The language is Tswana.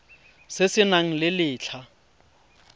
se se nang le letlha